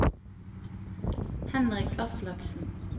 Henrik Aslaksen